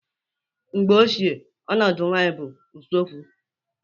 Mgbe ochie, ọnọdụ nwanyị bụ n'usekwu